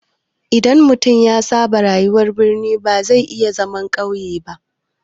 Idan mutum ya saba da rayuwar birni ba zai iya zama a ƙauye ba.